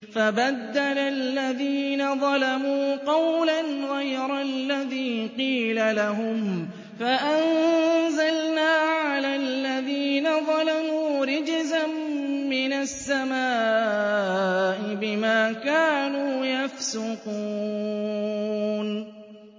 فَبَدَّلَ الَّذِينَ ظَلَمُوا قَوْلًا غَيْرَ الَّذِي قِيلَ لَهُمْ فَأَنزَلْنَا عَلَى الَّذِينَ ظَلَمُوا رِجْزًا مِّنَ السَّمَاءِ بِمَا كَانُوا يَفْسُقُونَ